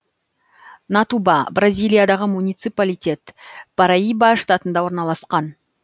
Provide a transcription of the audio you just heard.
натуба бразилиядағы муниципалитет параиба штатында орналасқан